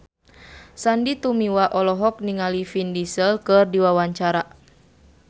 Sandy Tumiwa olohok ningali Vin Diesel keur diwawancara